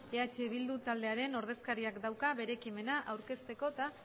eh bildu taldearen ordezkariak dauka bere ekimena aurkezteko eta